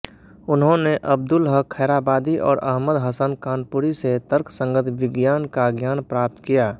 उन्होंने अब्दुल हक खैराबादी और अहमद हसन कानपुरी से तर्कसंगत विज्ञान का ज्ञान प्राप्त किया